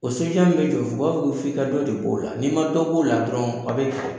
O min bɛ jɔ u b'a fɔ i ka dɔ de b'o la n'i ma dɔ b'o la dɔrɔn a bɛ